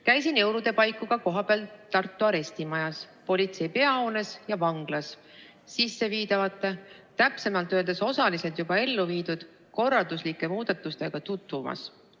Käisin jõulude paiku ka kohapeal Tartu arestimajas, politsei peahoones ja vanglas sisseviidavate, täpsemalt öeldes osaliselt juba elluviidud korralduslike muudatustega tutvumas.